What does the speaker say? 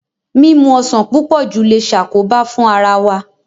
Mímu ọsàn púpọ̀ jù le ṣàkóbá fún ara wa.